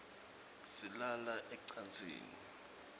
silala ecansini